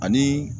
Ani